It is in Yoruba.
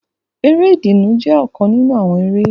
Eré ìdùnnú jẹ ọkan ninu awọn eré.